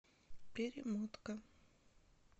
перемотка